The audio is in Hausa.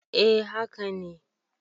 A haka ne